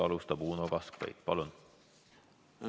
Alustab Uno Kaskpeit.